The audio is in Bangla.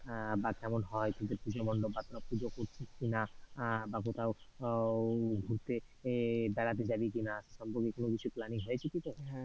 আহ বা কেমন হয় পুজো মন্ডপ বা পুজো করছিস কিনা, আহ বা কোথাও উহ ঘুরতে এর বেড়াতে যাবি কিনা, এসব কিছু নিয়ে planning হয়েছে কিছু?